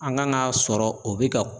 An kan ka sɔrɔ o bɛ ka